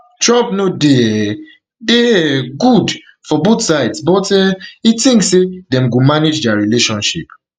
trump no dey um dey um good for both sides but um e tink say dem go manage dia relationship